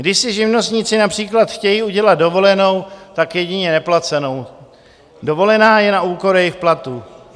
Když si živnostníci například chtějí udělat dovolenou, tak jedině neplacenou, dovolená je na úkor jejich platu.